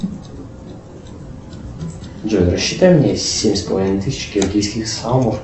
джой рассчитай мне семь с половиной тысяч киргизских сомов